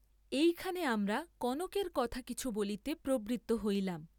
এইখানে আমরা কনকের কথা কিছু বলিতে প্রবৃত্ত হইলাম।